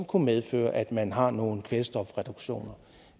kunne medføre at man har nogle kvælstofreduktioner